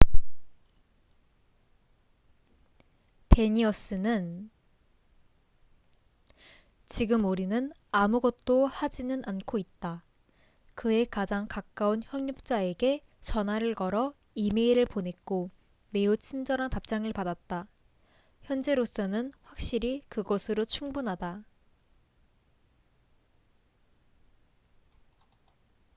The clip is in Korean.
"대니어스danius는 "지금 우리는 아무것도 하지는 않고 있다. 그의 가장 가까운 협력자에게 전화를 걸어 이메일을 보냈고 매우 친절한 답장을 받았다. 현재로서는 확실히 그것으로 충분하다.""